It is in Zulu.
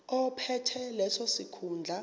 ophethe leso sikhundla